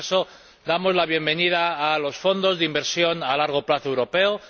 En todo caso, damos la bienvenida a los fondos de inversión a largo plazo europeos.